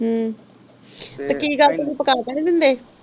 ਹੂੰ ਤੇ ਕਿ ਗੱਲ ਤੁਸੀਂ ਪਕਾ ਕ ਨਹੀਂ ਦਿੰਦੇ